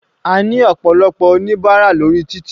A ní ọ̀pọ̀lọpọ̀ oníbárà lórí títì.